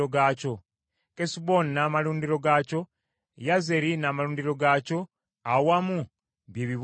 Kesuboni n’amalundiro gaakyo, Yazeri n’amalundiro gaakyo awamu bye bibuga bina.